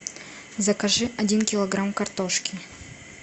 закажи один килограмм картошки